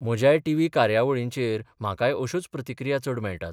म्हज्याय TV कार्यावळींचेर म्हाकाय अश्योच प्रतिक्रिया चड मेळटात.